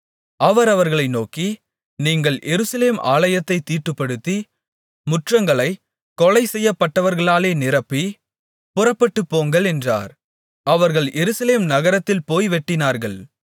அவர் அவர்களை நோக்கி நீங்கள் எருசலேம் ஆலயத்தைத் தீட்டுப்படுத்தி முற்றங்களைக் கொலை செய்யப்பட்டவர்களாலே நிரப்பி புறப்பட்டுப்போங்கள் என்றார் அவர்கள் எருசலேம் நகரத்தில் போய் வெட்டினார்கள்